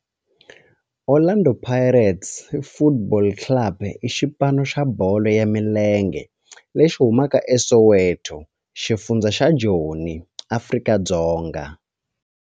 Orlando Pirates Football Club i xipano xa bolo ya milenge lexi humaka eSoweto, xifundzha xa Joni, Afrika-Dzonga.